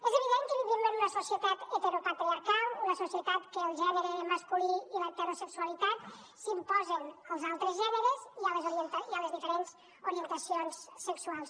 és evident que vivim en una societat heteropatriarcal una societat en què el gènere masculí i l’heterosexualitat s’imposen als altres gèneres i a les diferents orientacions sexuals